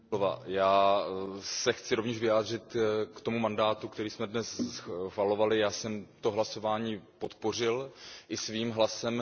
Paní předsedající, já se chci rovněž vyjádřit k tomu mandátu, který jsme dnes schvalovali. Já jsem to hlasování podpořil i svým hlasem.